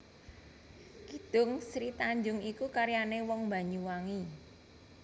Kidung Sri Tanjung iku karyané wong Banyuwangi